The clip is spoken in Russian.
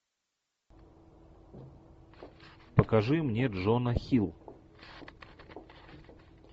покажи мне джона хилл